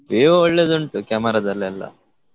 Vivo ಒಳ್ಳೆದುಂಟು camera ದಲ್ಲೆಲ್ಲ.